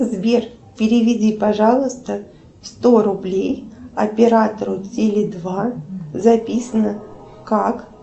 сбер переведи пожалуйста сто рублей оператору теле два записано как